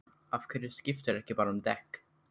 Af hverju skiptirðu ekki bara um dekk?